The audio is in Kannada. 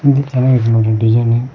ಇದ್ ಚೆನ್ನಾಗೈತ್ ನೋಡಿ ಡಿಸೈನ್ --